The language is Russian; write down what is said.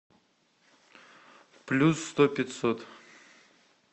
плюс сто пятьсот